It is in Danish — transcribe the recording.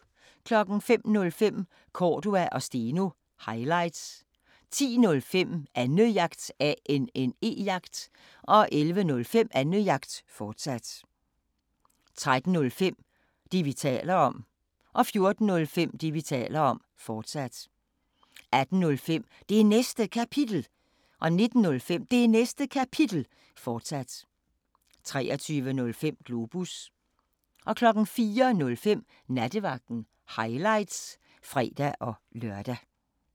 05:05: Cordua & Steno – highlights 10:05: Annejagt 11:05: Annejagt, fortsat 13:05: Det, vi taler om 14:05: Det, vi taler om, fortsat 18:05: Det Næste Kapitel 19:05: Det Næste Kapitel, fortsat 23:05: Globus 04:05: Nattevagten – highlights (fre-lør)